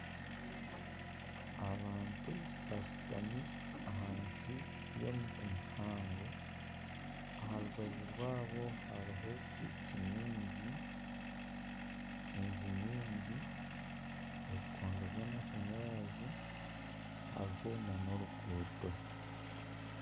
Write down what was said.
Abantu bashutami ahansi ya omuti muhango aha rubaju rwabo hariho piki nyingi , enju nyingi , ebikondo by'amashanyarazi hariho na oruguuto.